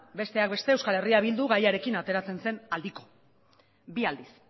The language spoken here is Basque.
besteak beste euskal herria bildu gaiarekin ateratzen zen aldiko bi aldiz